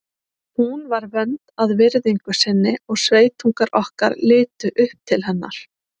Hún var vönd að virðingu sinni og sveitungar okkar litu upp til hennar.